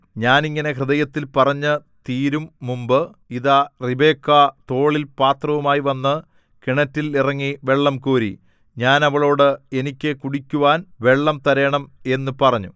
ഞാൻ ഇങ്ങനെ ഹൃദയത്തിൽ പറഞ്ഞു തീരുംമുമ്പ് ഇതാ റിബെക്കാ തോളിൽ പാത്രവുമായി വന്നു കിണറ്റിൽ ഇറങ്ങി വെള്ളംകോരി ഞാൻ അവളോട് എനിക്ക് കുടിക്കുവാൻ വെള്ളം തരേണം എന്നു പറഞ്ഞു